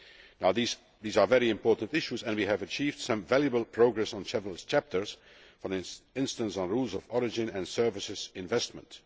Now these are very important issues and we have achieved some valuable progress on several chapters, for instance on rules of origin and services investment.